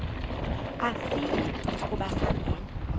asiyi kuba sangena